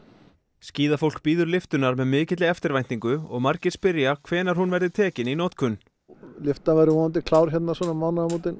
skíðafólk bíður lyftunnar með mikilli eftirvæntingu og margir spyrja hvenær hún verði tekin í notkun lyftan verður vonandi klár svona um mánaðamótin